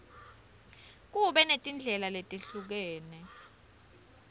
kube netindlela letehlukene